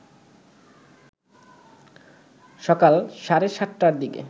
সকাল সাড়ে ৭টার দিকে